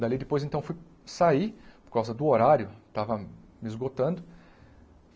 Dali depois, então, fui sair, por causa do horário, estava me esgotando.